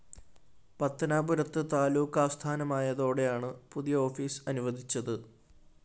പത്തനാപുരത്ത് താലൂക്ക് ആസ്ഥാനമായതോടെയാണ് പുതിയ ഓഫീസ്‌ അനുവദിച്ചത്